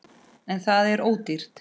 En það er dýrt.